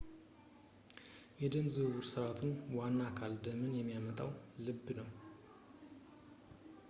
የደም ዝውውር ሥርዓቱ ዋና አካል ደምን የሚያወጣው ልብ ነው